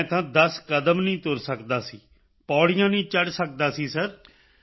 ਮੈਂ ਤਾਂ 10 ਕਦਮ ਨਹੀਂ ਤੁਰ ਸਕਦਾ ਸੀ ਪੌੜੀਆਂ ਨਹੀਂ ਚੜ੍ਹ ਸਕਦਾ ਸੀ ਸਿਰ